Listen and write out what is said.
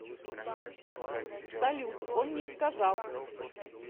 салют он не сказал